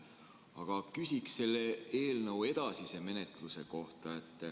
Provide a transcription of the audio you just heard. Aga küsin selle eelnõu edasise menetluse kohta.